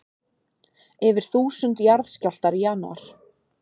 Yfir þúsund jarðskjálftar í janúar